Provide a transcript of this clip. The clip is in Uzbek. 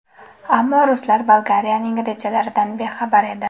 Ammo ruslar Bolgariyaning rejalaridan bexabar edi.